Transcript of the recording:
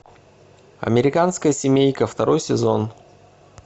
американская семейка второй сезон